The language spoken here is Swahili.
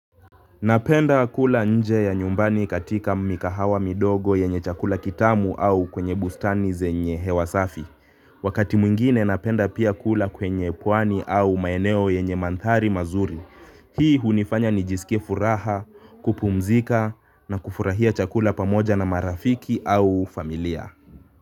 Napenda kula nje ya nyumbani katika mikahawa midogo yenye chakula kitamu au kwenye bustani zenye hewa safi. Wakati mwingine napenda pia kula kwenye pwani au maeneo yenye mandhari mazuri hii hunifanya nijisikie furaha, kupumzika na kufurahia chakula pamoja na marafiki au familia.